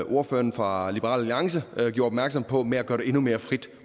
ordføreren fra liberal alliance gjorde opmærksom på med at gøre det endnu mere frit